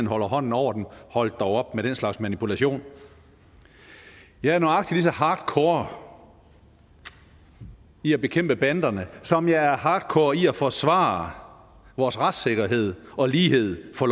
holder hånden over dem hold dog op med den slags manipulation jeg er nøjagtig lige så hardcore i at bekæmpe banderne som jeg er hardcore i at forsvare vores retssikkerhed og lighed for